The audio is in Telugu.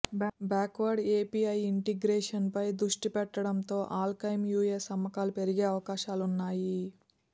బ్యాక్వార్డ్ ఏపీఐ ఇంటెగ్రేషన్పై దృష్టిపెట్టడంతో ఆల్కెమ్ యూఎస్ అమ్మకాలు పెరిగే అవకాశాలున్నాయి